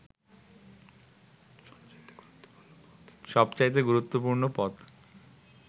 সবচাইতে গুরুত্বপূর্ণ পথ